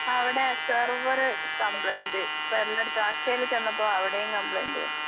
അവടെ server complaint പിന്നേ അക്ഷയിൽ ചെന്നപ്പോ അവടെയും കംപ്ലയിന്റ്.